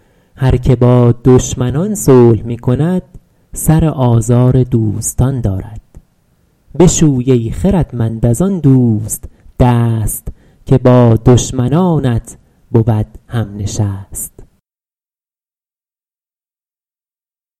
هر که با دشمنان صلح می کند سر آزار دوستان دارد بشوی ای خردمند از آن دوست دست که با دشمنانت بود هم نشست